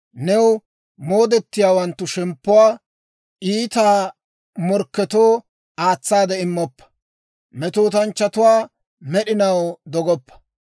New moodettiyaawanttu shemppuwaa iita morkketoo aatsaade immoppa. Metootanchchatuwaa med'inaw dogoppa.